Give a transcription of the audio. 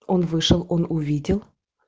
он вышел он увидел